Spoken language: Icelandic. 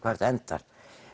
þetta endar